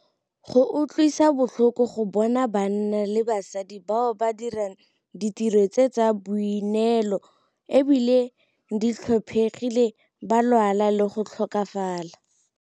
Go utlwisa botlhoko go bona banna le basadi bao ba dirang ditiro tse tsa boineelo e bile di tlhophegile ba lwala le go tlhokafala.